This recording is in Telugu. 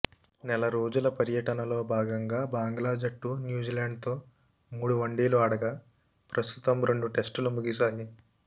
నెలరోజుల పర్యటనలో భాగంగా బంగ్లా జట్టు న్యూజీలాండ్తో మూడు వన్డేలు ఆడగా ప్రస్తుతం రెండు టెస్టులు ముగిశాయి